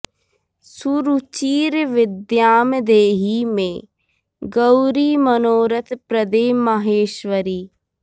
सुरुचिर विद्यां देहि मे गौरि मनोरथ प्रदे माहेश्वरि